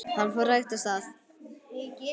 Hann fór hægt af stað.